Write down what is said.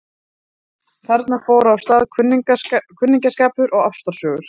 Þarna fóru af stað kunningsskapur og ástarsögur.